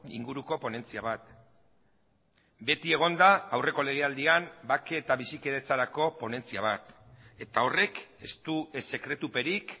inguruko ponentzia bat beti egon da aurreko legealdian bake eta bizikidetzarako ponentzia bat eta horrek ez du ez sekretuperik